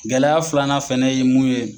Gɛlɛya filanan fɛnɛ ye mun ye